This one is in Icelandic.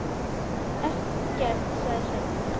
Ekkert, sagði Sveinn.